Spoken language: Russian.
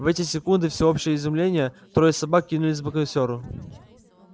в эти секунды всеобщего изумления трое собак кинулись к боксёру